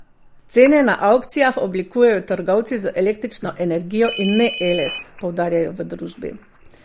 Cene na avkcijah oblikujejo trgovci z električno energijo in ne Eles, poudarjajo v družbi.